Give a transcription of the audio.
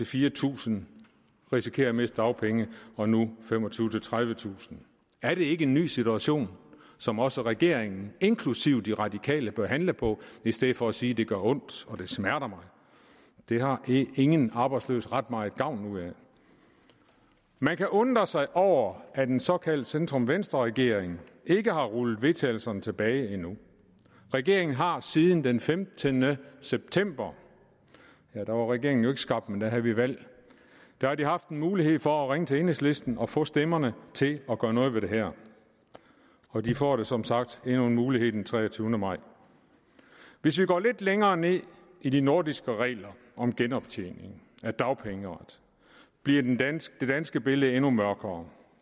fire tusind risikerer at miste dagpenge mod nu femogtyvetusind tredivetusind er det ikke en ny situation som også regeringen inklusive de radikale bør handle på i stedet for at sige at det gør ondt og det smerter det har ingen arbejdsløse ret meget gavn ud af man kan undre sig over at en såkaldt centrum venstre regering ikke har rullet vedtagelserne tilbage endnu regeringen har siden den femtende september ja der var regeringen jo ikke skabt men der havde vi valg haft en mulighed for at ringe til enhedslisten og få stemmerne til at gøre noget ved det her og de får som sagt endnu en mulighed den treogtyvende maj hvis vi går lidt længere ned i de nordiske regler om genoptjening af dagpengeret bliver det danske danske billede endnu mørkere